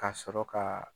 Ka sɔrɔ ka